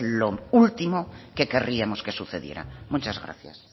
lo último que querríamos que sucediera muchas gracias